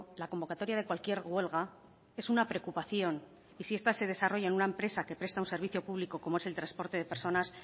la convocatoria de cualquier huelga es una preocupación y si esta se desarrolla en una empresa que presta un servicio público como es el transporte de personas